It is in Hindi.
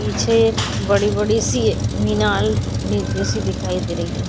पीछे बड़ी-बड़ी सी मीनार ई-जैसी दिखाई दे रही है।